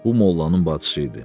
Bu mollanın bacısı idi.